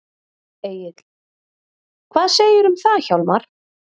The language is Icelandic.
Egill: Hvað segirðu um það Hjálmar?